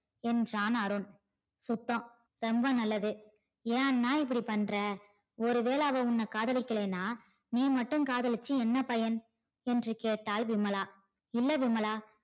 என்றான் அருண் சுத்தம் ரொம்ப நல்லது ஏன் அண்ணா இப்படி பண்ற ஒரு வேல அவ உன்ன காதலிக்கலேனா நீ மட்டும் காதலிச்சி என்ன பயன் என்று கேட்டால் விமலா இல்ல விமலா